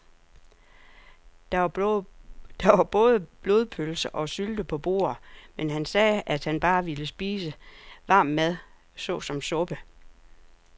Der var både blodpølse og sylte på bordet, men han sagde, at han bare ville spise varm mad såsom suppe.